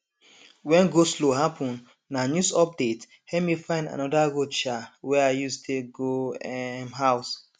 wen goslow happen na news update help me find anoda road um wey i use take go um house